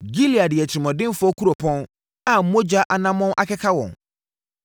Gilead yɛ atirimuɔdenfoɔ kuropɔn a mogya anammɔn akeka hɔ.